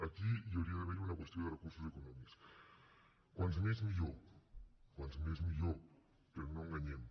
aquí hi hauria d’haver una qüestió de recursos econòmics com més millor com més millor però no enganyem